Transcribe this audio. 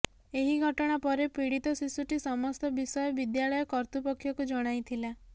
ଏହି ଘଟଣା ପରେ ପୀଡିତ ଶିଶୁଟି ସମସ୍ତ ବିଷୟ ବିଦ୍ୟାଳୟ କର୍ତ୍ତୃପକ୍ଷକୁ ଜଣାଇଥିଲା